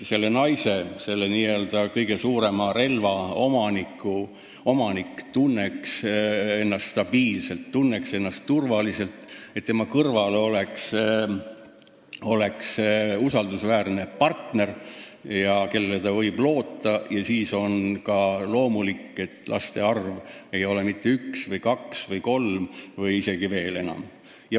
Kui naine, selle n-ö kõige suurema relva omanik, tunneb ennast stabiilselt ja turvaliselt ning tema kõrval on usaldusväärne partner, kellele ta võib loota, siis on ka loomulik, et tema laste arv ei ole mitte üks-kaks, vaid kolm või isegi enam.